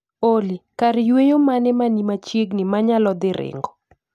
Olly, kar yweyo mane manimachiegni manyalo dhii ringo